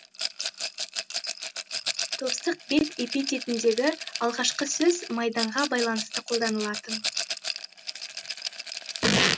торсық бет эпитетіндегі алғашқы сөз маңдайға байланысты қолданылатын